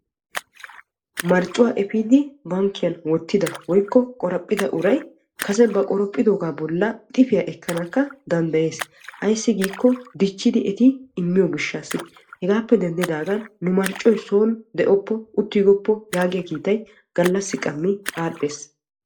Marccuwaa efiidi bankkiyaan wottida woykko qoraphphida uray kase ba qoraphphidoga bollan ixifiya ekkanakka danddayees. Ayssi giikko dichchidi etti immiyo gishshaasi. Hegaappe denddidagan nu marccoy sooni de'opo uttigoppo yaagiyaa kiitay adhdhees.